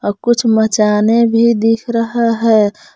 और कुछ मचाने भी दिख रहा है।